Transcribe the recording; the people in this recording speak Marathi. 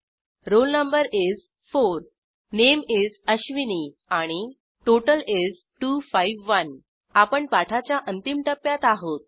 रोल नो is 4 नामे is अश्विनी आणि टोटल is 251 आपण पाठाच्या अंतिम टप्प्यात आहोत